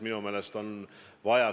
Minu meelest see on väga positiivne.